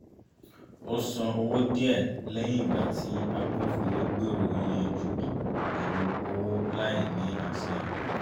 ó san owó díẹ̀ lẹ́yìn ìgbà tí agbófinró gbèrò yíyanjú pẹ̀lú owó láì ní àṣẹ